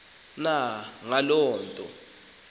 na ngaloo nto